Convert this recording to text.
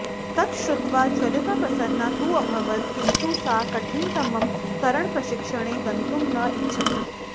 तत् श्रुत्वा ज्वलिता प्रसन्ना तु अभवत् किन्तु सा कठिनतमं तरणप्रशिक्षणे गन्तुं न इच्छति